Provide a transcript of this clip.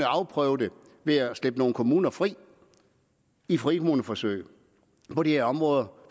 afprøve ved at slippe nogle kommuner fri i et frikommuneforsøg på de her områder